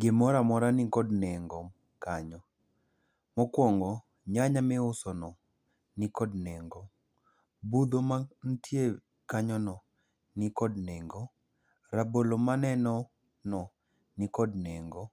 Gimora mora nikod nengo kanyo. Mokwongo nyanya miusono nikod nengo. Budho mantie kanyono nikod nengo. Rabolo maneno no nikod nengo.